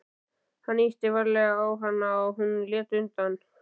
Hann ýtti varlega á hana og hún lét undan.